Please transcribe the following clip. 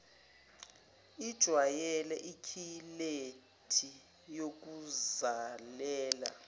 ijwayele ikhilethi yokuzalela